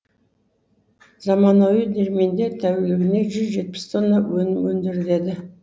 заманауи диірменде тәулігіне жүз жетпіс тонна өнім өңделеді